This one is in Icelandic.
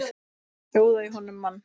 Sjóða í honum mann!